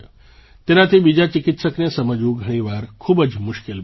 તેનાથી બીજા ચિકિત્સકને સમજવું ઘણી વાર ખૂબ જ મુશ્કેલ બને છે